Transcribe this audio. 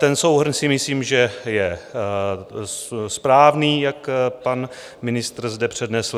Ten souhrn si myslím, že je správný, jak pan ministr zde přednesl.